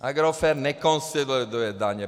Agrofert nekonsoliduje daně.